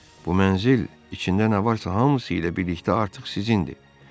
Bu mənzil içində nə varsa hamısı ilə birlikdə artıq sizindir.